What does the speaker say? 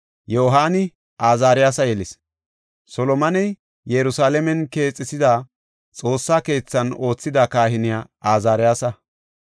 Yohaani Azaariyasa yelis. Solomoney Yerusalaamen keexisida Xoossa keethan oothida kahiney Azaariyasa.